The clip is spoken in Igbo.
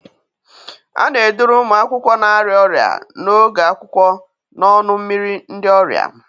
A na-eduru ụmụ akwụkwọ na-arịa ọrịa n'oge akwụkwọ n'ọnụ mmiri ndị ọrịa.